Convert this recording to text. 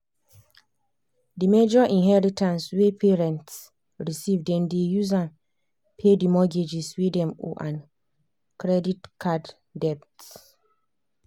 the major inheritance wey parents receive dem dey use am pay the mortgages wey dem owe and credit card debts.